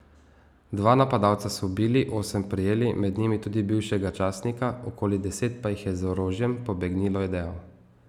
Dva napadalca so ubili, osem prijeli, med njimi tudi bivšega častnika, okoli deset pa jih je z orožjem pobegnilo, je dejal.